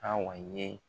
A wa ye